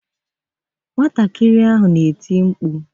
Nwa ahụ na-eti mkpu.